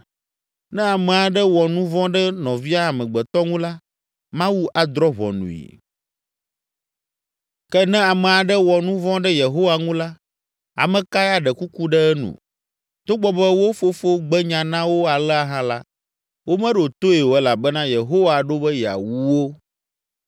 Ne ame aɖe wɔ nu vɔ̃ ɖe nɔvia amegbetɔ ŋu la, Mawu adrɔ̃ ʋɔnui. Ke ne ame aɖe wɔ nu vɔ̃ ɖe Yehowa ŋu la, ame kae aɖe kuku ɖe enu?” Togbɔ be wo fofo gbe nya na wo alea hã la, womeɖo toe o elabena Yehowa ɖo be yeawu wo.